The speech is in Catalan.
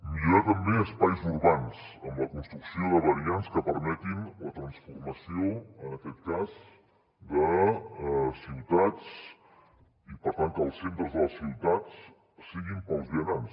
millorar també espais urbans amb la construcció de variants que permetin la transformació en aquest cas de ciutats i per tant que els centres de les ciutats siguin per als vianants